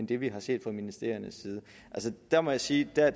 det vi har set fra ministeriernes side der må jeg sige at